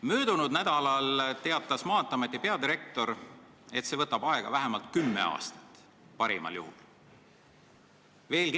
" Möödunud nädalal teatas Maanteeameti peadirektor, et see võtab aega vähemalt kümme aastat – parimal juhul.